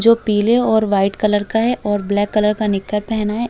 जो पीले और वाइट कलर का है और ब्लैक कलर का निक्कर पहना है।